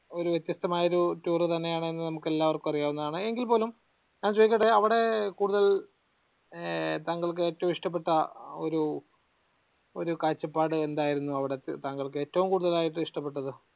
ഒരു വ്യത്യസ്തമായ ഒരു tour തന്നെയാണെന്ന് നമുക്ക് എല്ലാർക്കും അറിയാവുന്നതാണ് എങ്കിൽപ്പോലും ഞാൻ ചോയ്ക്കട്ടെ അവടെ കൂടുതൽ ഏർ താങ്കൾക്കു ഏറ്റോം ഇഷ്ടപ്പെട്ട ഒരു ഒരു കാഴ്ചപ്പാട് എന്തായിരുന്നു അവ്ടെതെ താങ്കൾക്കു ഏറ്റോം കൂടുതലായിട്ട് ഇഷ്ടപ്പെട്ടത്